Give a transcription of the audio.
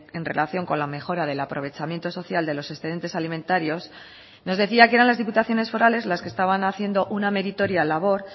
en relación con la mejora del aprovechamiento social de los excedentes alimentarios nos decía que eran las diputaciones forales las que estaban haciendo una meritoria labor